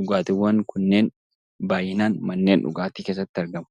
Dhugaatiiwwan baayyinaan manneen dhugaatii keessatti argamu